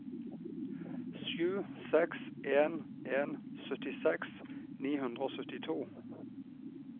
sju seks en en syttiseks ni hundre og syttito